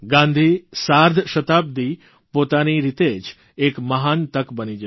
ગાંધી સાર્ધશતાબ્દિ પોતાની રીતે જ એક મહાન તક બની જશે